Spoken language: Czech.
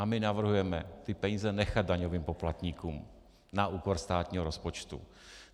A my navrhujeme ty peníze nechat daňovým poplatníkům na úkor státního rozpočtu.